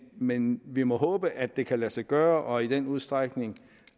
men vi må håbe at det kan lade sig gøre og i den udstrækning